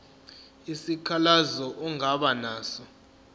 isikhalazo ongaba naso